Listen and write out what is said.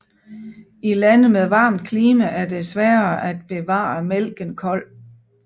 I lande med varmt klima er det sværere at bevare mælken kold